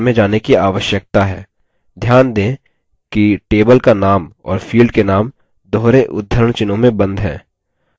ध्यान दें कि table का name और field के name दोहरे उद्धरण चिह्नों में बंद हैं